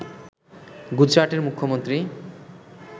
গুজরাটের মুখ্যমন্ত্রী